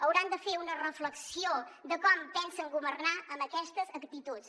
hauran de fer una reflexió de com pensen governar amb aquestes actituds